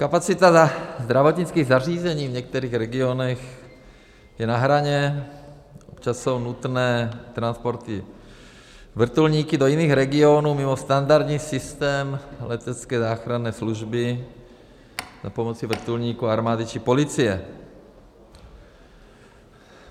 Kapacita zdravotnických zařízení v některých regionech je na hraně, občas jsou nutné transporty vrtulníky do jiných regionů mimo standardní systém letecké záchranné služby za pomoci vrtulníků armády či policie.